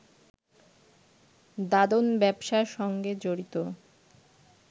দাদন ব্যবসার সঙ্গে জড়িত